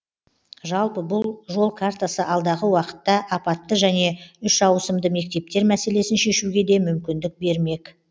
жалпы бұл жол картасы алдағы уақытта апатты және үш ауысымды мектептер мәселесін шешуге де мүмкіндік бермек